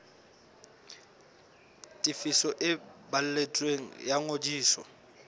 tefiso e balletsweng ya ngodiso